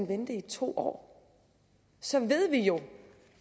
vente i to år så ved vi jo